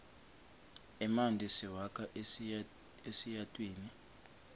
emanti siwakha esiyatwini